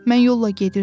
Mən yolla gedirdim.